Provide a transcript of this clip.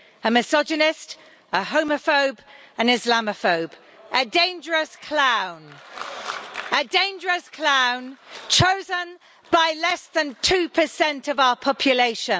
A misogynist, a homophobe, an Islamophobe, a dangerous clown a dangerous clown chosen by less than 2 of our population.